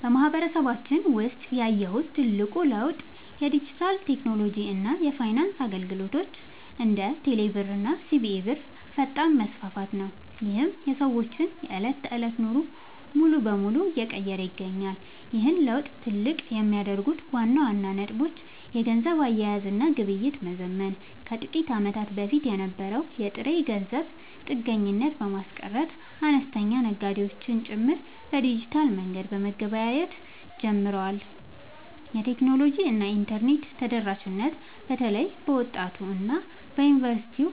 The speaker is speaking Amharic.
በማህበረሰባችን ውስጥ ያየሁት ትልቁ ለውጥ የዲጂታል ቴክኖሎጂ እና የፋይናንስ አገልግሎቶች (እንደ ቴሌብር እና ሲቢኢ ብር) ፈጣን መስፋፋት ነው፤ ይህም የሰዎችን የዕለት ተዕለት ኑሮ ሙሉ በሙሉ እየቀየረ ይገኛል። ይህን ለውጥ ትልቅ የሚያደርጉት ዋና ዋና ነጥቦች - የገንዘብ አያያዝ እና ግብይት መዘመን፦ ከጥቂት ዓመታት በፊት የነበረውን የጥሬ ገንዘብ ጥገኝነት በማስቀረት፣ አነስተኛ ነጋዴዎች ጭምር በዲጂታል መንገድ መገበያየት ጀምረዋል። የቴክኖሎጂ እና የኢንተርኔት ተደራሽነት፦ በተለይ በወጣቱ እና በዩኒቨርሲቲ